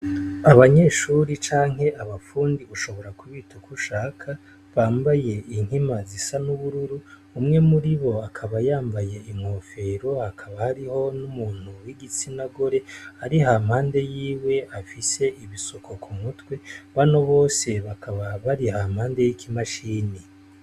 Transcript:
Abanyeshuri canke abafundi ushobora kubita ukushaka, bambaye inkima zisa n' ubururu umwe muribo akaba yambaye inkofero, hakaba hariho n'umuntu w'igitsina gore ari hampande yiwe afise ibisuko k' umutwe, bano bose bakaba bari hampande y' iki mashini.